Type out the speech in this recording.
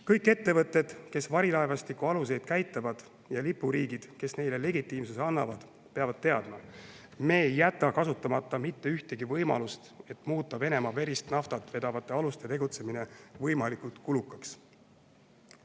Kõik ettevõtted, kes varilaevastiku aluseid käitavad, ja lipuriigid, kes neile legitiimsuse annavad, peavad teadma, et me ei jäta kasutamata mitte ühtegi võimalust, et muuta Venemaa verist naftat vedavate aluste tegutsemine võimalikult kulukaks.